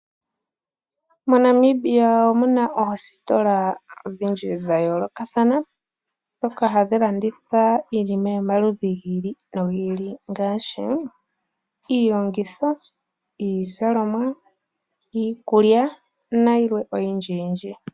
MoNamibia omu na oositola odhindji dha yoolokathana ndhoka hadhi landitha iinima yomaludhi ga yooloka ngaashi iilongitho, iizalomwa, iikulya nayilwe oyindji yindji.